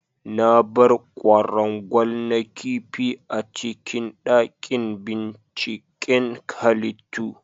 Na bar ƙwarangwal na ƙifi a cikin daƙin ɓinciƙen halittu.